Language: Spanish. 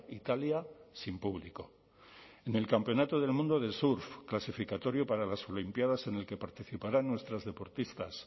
italia sin público en el campeonato del mundo de surf clasificatorio para las olimpiadas en el que participarán nuestras deportistas